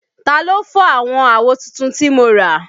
Ta ló fọ́ àwọn àwo tuntun tí mo rà?